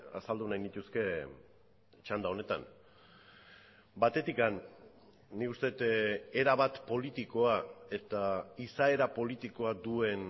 azaldu nahi nituzke txanda honetan batetik nik uste dut erabat politikoa eta izaera politikoa duen